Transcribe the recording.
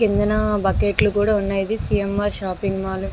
కిందన బకెట్ లు కూడా ఉన్నాయి. ఇది C. M. R shopping mall .